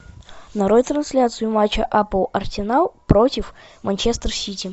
нарой трансляцию матча апл арсенал против манчестер сити